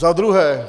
Za druhé.